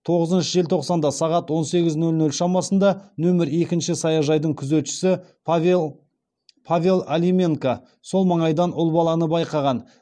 тоғызыншы желтоқсанда сағат он сегіз нөл нөл шамасында нөмір екінші саяжайдың күзетшісі павел алименка сол маңайдан ұл баланы байқаған